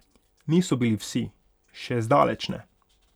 Niso bili vsi, še zdaleč ne.